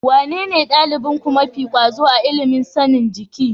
Wanene ɗalibinku mafi ƙwazo a ilimin sanin jiki?